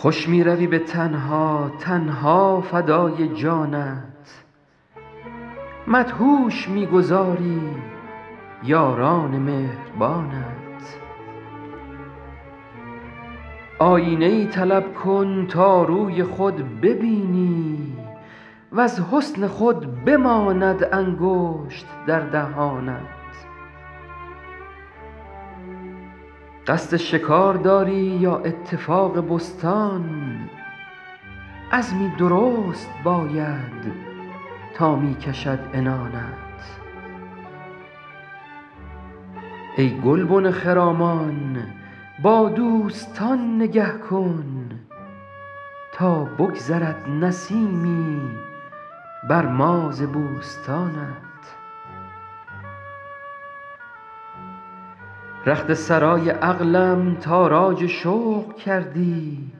خوش می روی به تنها تن ها فدای جانت مدهوش می گذاری یاران مهربانت آیینه ای طلب کن تا روی خود ببینی وز حسن خود بماند انگشت در دهانت قصد شکار داری یا اتفاق بستان عزمی درست باید تا می کشد عنانت ای گلبن خرامان با دوستان نگه کن تا بگذرد نسیمی بر ما ز بوستانت رخت سرای عقلم تاراج شوق کردی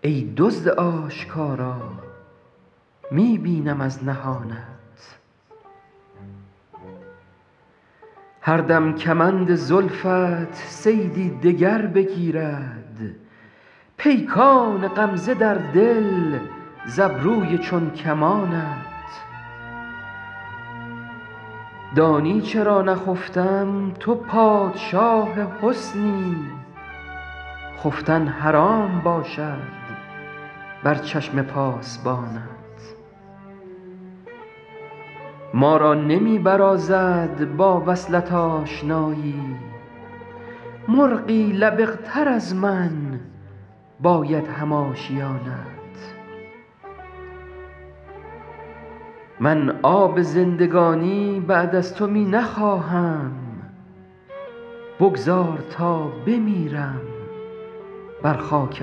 ای دزد آشکارا می بینم از نهانت هر دم کمند زلفت صیدی دگر بگیرد پیکان غمزه در دل ز ابروی چون کمانت دانی چرا نخفتم تو پادشاه حسنی خفتن حرام باشد بر چشم پاسبانت ما را نمی برازد با وصلت آشنایی مرغی لبق تر از من باید هم آشیانت من آب زندگانی بعد از تو می نخواهم بگذار تا بمیرم بر خاک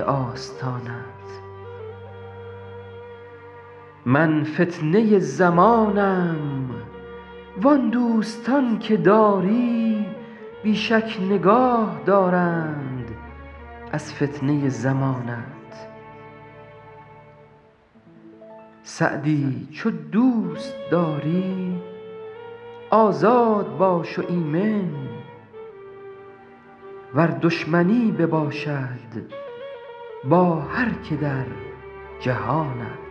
آستانت من فتنه زمانم وان دوستان که داری بی شک نگاه دارند از فتنه زمانت سعدی چو دوست داری آزاد باش و ایمن ور دشمنی بباشد با هر که در جهانت